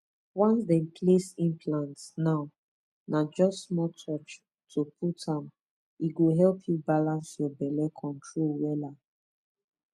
once dem place implant na na just small touch to put m e go help you balance your belle control wela